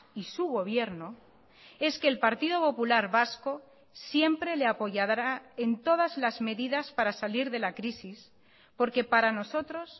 y su gobierno es que el partido popular vasco siempre le apoyará en todas las medidas para salir de la crisis porque para nosotros